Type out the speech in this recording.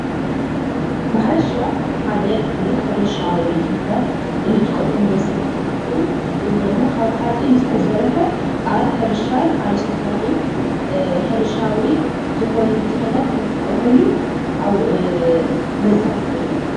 ማሕረሻ ሓደ ን ሕርሻ ወይ ንምሕራስ እንጥቀመሉ መሳርሒ እንትኸውን እዚ ድማ ካብ ሓፂን ዝተሰርሐ ኣብ ሕርሻን ኣብ ዝተፈላለዩ ሕርሻዊ ዝኾኑ ንጥፈታት እንጥቀመሉ መሳርሒ እዩ።